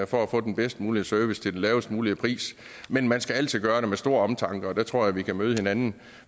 for at få den bedst mulige service til den lavest mulige pris men man skal altid gøre det med stor omtanke og der tror jeg vi kan møde hinanden